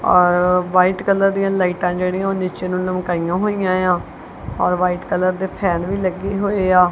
ਔਰ white colour ਦੀ ਲਾਈਟਾਂ ਜਿਹੜੀਆਂ ਉਹ ਨੀਚੇ ਨੂੰ ਲਮਕਾਈਆਂ ਹੋਈਆਂ ਆ ਔਰ ਵਾਈਟ ਕਲਰ ਦੇ ਫੈਨ ਵੀ ਲੱਗੇ ਹੋਏ ਆ।